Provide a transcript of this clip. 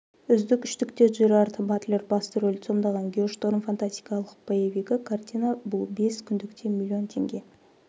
үздік үштікте джерард батлер басты рөлді сомдаған геошторм фантастикалық боевигі картина бұл бес күндікте млн теңге